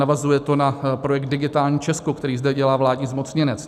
Navazuje to na projekt Digitální Česko, který zde dělá vládní zmocněnec.